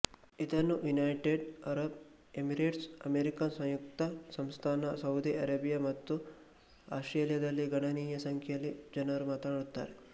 ಇದನ್ನು united Arab Emirates America ಸಂಯುಕ್ತ ಸಂಸ್ಥಾನ ಸೌದಿ ಅರೇಬಿಯಾ ಮತ್ತು ಆಸ್ಟ್ರೇಲಿಯಾದಲ್ಲಿ ಗಣನೀಯ ಸಂಖ್ಯೆಯ ಜನರು ಮಾತನಾಡುತ್ತಾರೆ